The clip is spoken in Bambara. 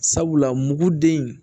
Sabula muguden